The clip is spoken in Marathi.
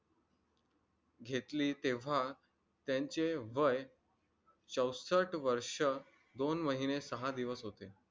घेतली तेव्हा त्यांचे वय चौसष्ट वर्ष दोन महिने सहा दिवस होते